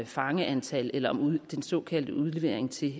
fangeantal eller den såkaldte udlevering til